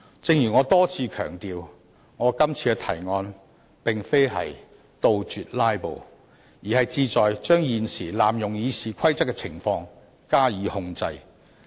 正如我多次強調，我今次提出的擬議決議案，並非是要杜絕"拉布"，只是想對現時濫用《議事規則》的情況加以控制。